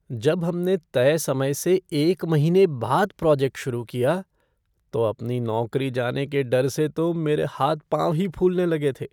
जब हमने तय समय से एक महीने बाद प्रोजेक्ट शुरू किया, तो अपनी नौकरी जाने के डर से तो मेरे हाथ पाँव ही फूलने लगे थे।